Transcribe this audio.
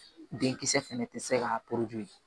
Denkisɛ fɛnɛ tɛ se ka